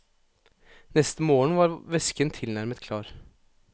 Neste morgen var væsken tilnærmet klar.